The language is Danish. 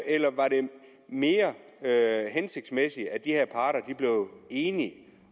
eller var det mere hensigtsmæssigt at de her parter blev enige